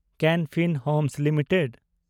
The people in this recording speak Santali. ᱠᱮᱱ ᱯᱷᱤᱱ ᱦᱳᱢᱥ ᱞᱤᱢᱤᱴᱮᱰ